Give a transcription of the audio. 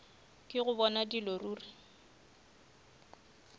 ke go bona dilo ruri